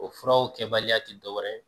O furaw kɛbaliya tɛ dɔwɛrɛ